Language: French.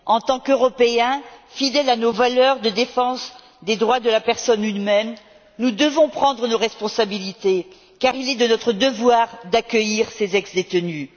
En tant qu'Européens, fidèles à nos valeurs de défense des droits de la personne humaine, nous devons prendre nos responsabilités car il est de notre devoir d'accueillir ces ex détenus.